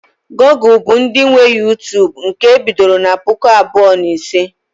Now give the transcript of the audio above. Google bụ ndị nwe Uytubu nke e bidoro na puku abụọ na ise